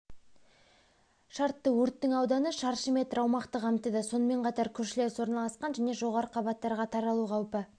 шартты өрттің ауданы шршы метр аумақты қамтыды сонымен қатар көршілес орналасқан және жоғары қабаттарға таралу қаупі